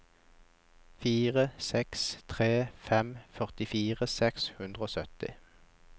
fire seks tre fem førtifire seks hundre og sytti